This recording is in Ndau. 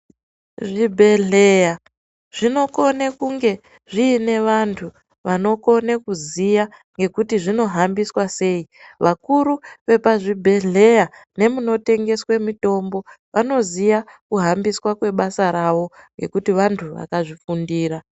Zvibhedhleya zvinokone kunge zvine vantu vanokone kuziya ngekuti zvinohambiswa sei. Vakuru vepazvibhedhleya nevanoshande munotengeswe mitombo vanoziye kuhambiswa kwebasa ravo ngekuti vantu vakarifundira.